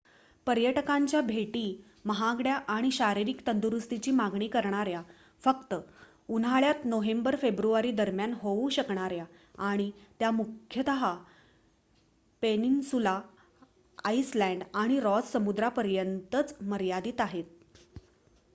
पर्यटकांच्या भेटी महागड्या आणि शारीरिक तंदुरुस्तीची मागणी करणाऱ्या फक्त उन्हाळ्यात नोव्हेंबर-फेब्रुवारीदरम्यान होऊ शकणाऱ्या आणि त्या मुख्यतः पेनिन्सुला आइसलँड आणि रॉस समुद्रापर्यंतच मर्यादीत आहेत